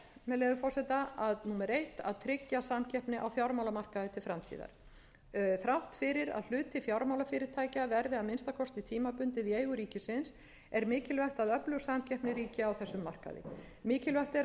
með leyfi forseta númer eitt að tryggja samkeppni á fjármálamarkaði til framtíðar þrátt fyrir að hluti fjármálafyrirtækja verði að minnsta kosti tímabundið í eigu ríkisins er mikilvægt að öflug samkeppni ríki á þessum markaði mikilvægt er að